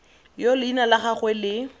yo leina la gagwe le